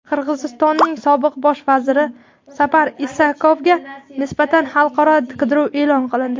Qirg‘izistonning sobiq bosh vaziri Sapar Isakovga nisbatan xalqaro qidiruv e’lon qilindi.